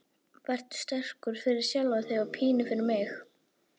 Vertu sterkur, fyrir sjálfan þig og pínu fyrir mig.